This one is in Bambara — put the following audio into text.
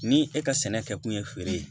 Ni e ka sɛnɛ kɛ kun ye feere ye